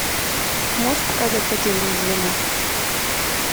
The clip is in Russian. можешь показать потерянное звено